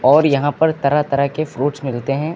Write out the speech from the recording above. और यहां पर तरह तरह के फ्रूट्स मिलते हैं।